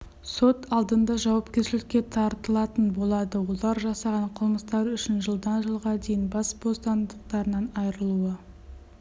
сот алдында жауапкершілікке тартылатын болады олар жасаған қылмыстары үшін жылдан жылға дейін бас бостандықтарынан айырылуы